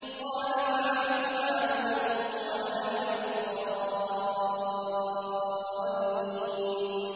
قَالَ فَعَلْتُهَا إِذًا وَأَنَا مِنَ الضَّالِّينَ